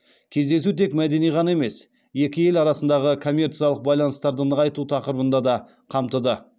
кездесу тек мәдени ғана емес екі ел арасындағы коммерциялық байланыстарды нығайту тақырыбында да қамтыды